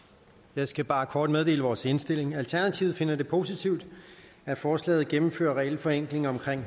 jeg skal bare kort meddele vores indstilling alternativet finder det positivt at forslaget gennemfører regelforenklinger om